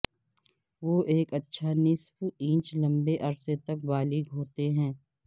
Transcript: وہ ایک اچھا نصف انچ لمبے عرصے تک بالغ ہوتے ہیں